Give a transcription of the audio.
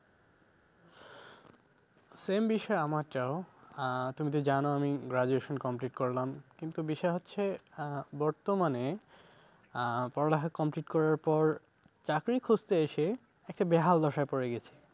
Same বিষয় আমার টাও আহ তুমি তো জানো আমি graduation complete করলাম। কিন্তু বিষয় হচ্ছে আহ বর্তমানে আহ পড়ালেখা complete করার পর চাকরি খুঁজতে এসে একটা বেহাল দশায় পড়ে গেছি।